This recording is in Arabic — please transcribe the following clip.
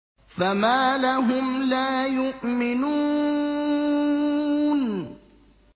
فَمَا لَهُمْ لَا يُؤْمِنُونَ